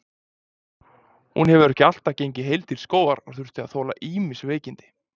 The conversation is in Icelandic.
Hún hefur ekki alltaf gengið heil til skógar og þurft að þola ýmis veikindi.